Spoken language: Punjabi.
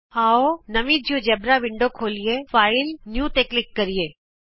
ਆਉ ਨਵੀਂ ਜਿਉਜੇਬਰਾ ਵਿੰਡੋ ਖੋਲ੍ਹੀਏ ਫਾਈਲ ਨਿਊ ਤੇ ਕਲਿਕ ਕਰੋ